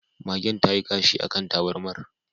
Magen tayi kashi akan tabarmar